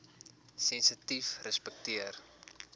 sensitiefrespekteer